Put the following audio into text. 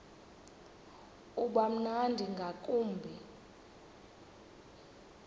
uba mnandi ngakumbi